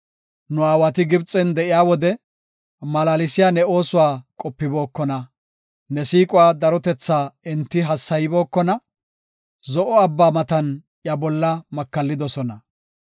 Nu aawati Gibxen de7iya wode, malaalsiya ne oosuwa qopibookona. Ne siiquwa darotethaa enti hassaybookona; Zo7o abba matan iya bolla makallidosona.